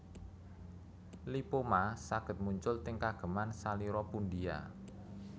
Lipoma saged muncul teng kageman salira pundia